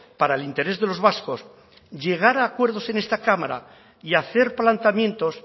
para el interés de los vascos llegar a acuerdos en esta cámara y hacer planteamientos